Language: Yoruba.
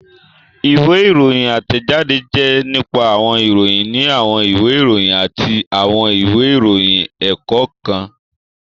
Ìwé ìròyìn átẹ̀jáde jẹ́ nípa àwọn ìròyìn ní àwọn ìwé ìròyìn àti àwọn ìwé ìròyìn ẹ̀kọ́ kan